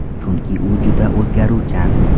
Chunki u juda o‘zgaruvchan.